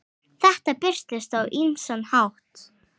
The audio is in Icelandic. Þetta birtist á ýmsan hátt.